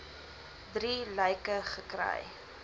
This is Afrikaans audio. drie lyke gekry